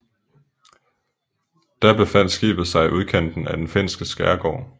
Da befandt skibet sig i udkanten af den finske skærgård